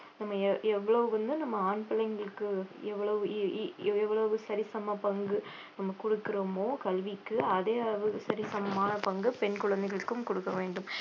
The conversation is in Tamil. நம்ம எவ்~ எவ்வளவு வந்து நம்ம ஆண் பிள்ளைங்களுக்கு எவ்ளோவு e~ e~ எவ்வளவு சரிசம பங்கு நம்ம கொடுக்கிறோமோ கல்விக்கு அதே அளவுக்கு சரிசமமான பங்கு பெண் குழந்தைகளுக்கும் கொடுக்க வேண்டும்